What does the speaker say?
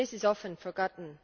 This is often forgotten.